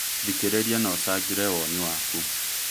Thikereria na ũcagĩre woni waku